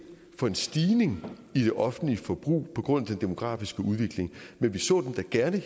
for en stigning i det offentlige forbrug på grund af den demografiske udvikling men vi så da gerne at